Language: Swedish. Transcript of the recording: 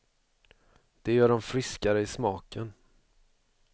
Det gör dem friskare i smaken.